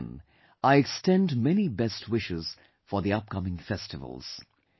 Once again, I extend many best wishes for the upcoming festivals